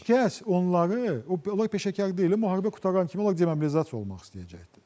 Və heç kəs onları, onlar peşəkar deyil, müharibə qurtaran kimi onlar demobilizasiya olmaq istəyəcəkdir.